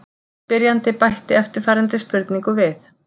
Spyrjandi bætti eftirfarandi spurningu við: